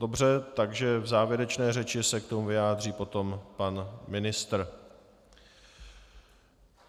Dobře, takže v závěrečné řeči se k tomu vyjádří potom pan ministr.